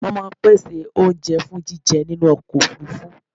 Wọ́n máa ń pèsè oúnjẹ fún jíjẹ nínú ọkọ̀ òfurufú.